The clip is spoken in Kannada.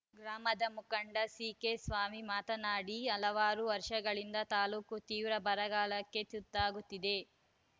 ಗ್ರಾಮದ ಮುಖಂಡ ಸಿಕೆ ಸ್ವಾಮಿ ಮಾತನಾಡಿ ಹಲವಾರು ವರ್ಷಗಳಿಂದ ತಾಲೂಕು ತೀವ್ರ ಬರಗಾಲಕ್ಕೆ ತುತ್ತಾಗುತ್ತಿದೆ